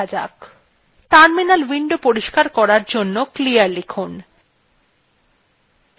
terminal window পরিষ্কার করার জন্য clear লিখুন